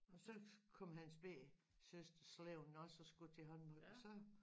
Og så kom hans bette søster slæbende også og skulle til håndbold og så